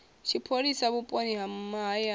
tshipholisa vhuponi ha mahayani na